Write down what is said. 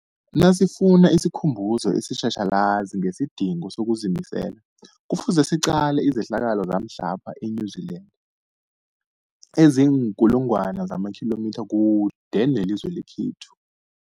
Nasifuna isikhumbuzo esitjhatjhalazi ngesidingo sokuzimisela, Kufuze siqale izehlakalo zamhlapha e-New Zealand eziinkulu ngwana zamakhilomitha kude nelizwe lekhethu.